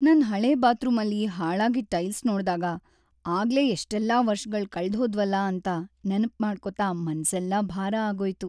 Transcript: ನನ್ ಹಳೆ ಬಾತ್ರೂಮಲ್ಲಿ ಹಾಳಾಗಿದ್ ಟೈಲ್ಸ್‌ ನೋಡ್ದಾಗ, ಆಗ್ಲೇ ಎಷ್ಟೆಲ್ಲ ವರ್ಷಗಳ್ ಕಳೆದ್ಹೋದ್ವಲ ಅಂತ ನೆನ್ಪ್‌ ಮಾಡ್ಕೋತಾ ಮನ್ಸೆಲ್ಲ ಭಾರ ಆಗೋಯ್ತು.